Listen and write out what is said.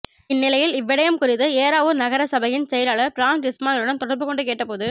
இந்நிலையில் இவ்விடயம் குறித்து ஏறாவூர் நகர சபையின் செயலாளர் பிர்னாஸ் இஸ்மாயிலுடன் தொடர்பு கொண்டுகேட்டபோது